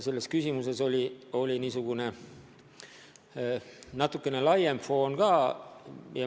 Sellel küsimusel oli niisugune natukene laiem foon ka.